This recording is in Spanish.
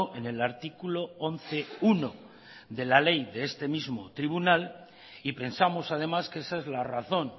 en el artículo once punto uno de la ley de este mismo tribunal y pensamos además que esa es la razón